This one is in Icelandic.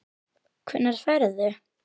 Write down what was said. Hvenær ferðu?